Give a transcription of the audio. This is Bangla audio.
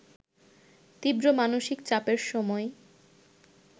তীব্র মানসিক চাপের সময়